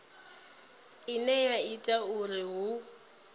ine ya ita uri hu